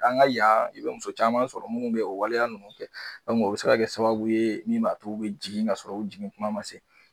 An ka yan i be muso caman sɔrɔ munnu be o waleya nunnu kɛ o bi se ka kɛ sababu ye min b'a t'u bɛ jigin ka sɔrɔ u jigin kuma ma se